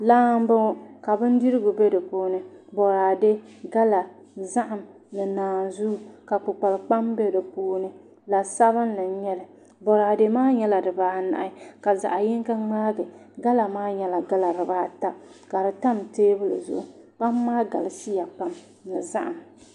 laa m-bɔŋɔ ka bindirigu be di puuni bɔraade gala zahim ni naanzuu ka kpukpali kpam be di puuni la'sabinlli n-nyɛ li bɔraade maa nyɛla dibaa anahi ka zaɣ'yinga ŋmaagi gala maa nyɛla gala dibaa ata ka di tam teebuli zuɣu kpam maa galisiya pam ni zahim